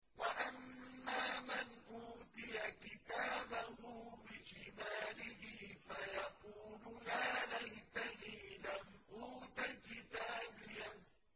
وَأَمَّا مَنْ أُوتِيَ كِتَابَهُ بِشِمَالِهِ فَيَقُولُ يَا لَيْتَنِي لَمْ أُوتَ كِتَابِيَهْ